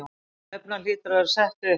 Stefnan hlýtur að vera sett upp?